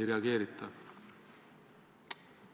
ei reageerita.